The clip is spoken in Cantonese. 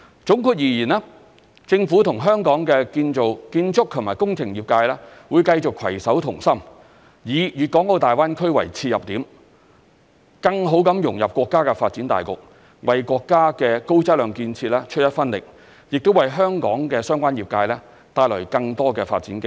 總括而言，政府與香港建築及工程業界會繼續攜手同心，以大灣區為切入點，更好地融入國家發展大局，為國家的高質量建設出一分力，亦為香港相關業界帶來更多發展機會。